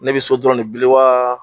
Ne bɛ so dɔrɔnw de bili wa?